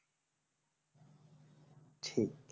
ঠিক